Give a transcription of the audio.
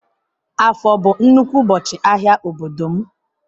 Afo bu nnukwu ubochi ahia n'obodo m.